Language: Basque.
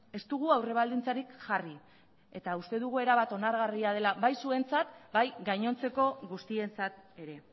ez dugu aurrebaldintzarik jarri eta uste dugu erabat onargarria dela bai zuentzat bai gainontzeko guztientzat ere